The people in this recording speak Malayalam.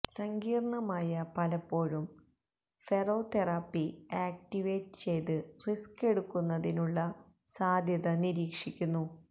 സങ്കീർണ്ണമായ പലപ്പോഴും ഫെറോതെറാപ്പി ആക്റ്റിവേറ്റ് ചെയ്ത് റിസ്ക് എടുക്കുന്നതിനുള്ള സാധ്യത നിരീക്ഷിക്കുന്നു